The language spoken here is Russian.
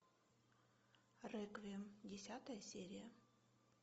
реквием десятая серия